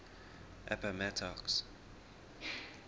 appomattox